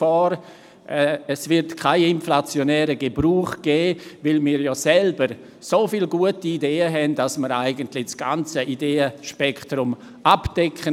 Es wird keinen inflationären Gebrauch dieses Rechts geben, weil wir ja selber so viele gute Ideen haben, sodass wir das ganze Ideenspektrum abdecken.